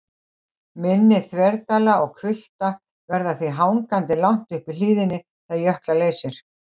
Mynni þverdala og hvilfta verða því hangandi langt uppi í hlíðinni þegar jökla leysir.